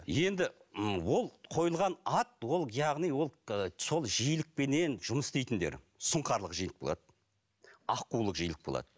енді м ол қойылған ат ол яғни ол ы сол жиілікпенен жұмыс істейтіндер сұңқарлық жиілік болады аққулық жиілік болады